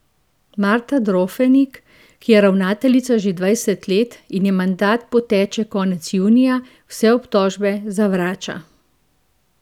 Marta Drofenik, ki je ravnateljica že dvajset let in ji mandat poteče konec junija, vse obtožbe zavrača.